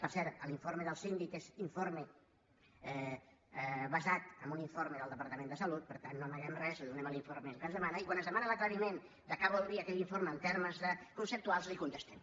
per cert l’informe del síndic és informe basat en un informe del departament de salut per tant no amaguem res li donem l’informe que ens demana i quan ens demana l’aclariment de què vol dir aquell informe en termes conceptuals li ho contestem